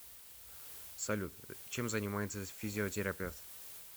салют чем занимается физиотерапевт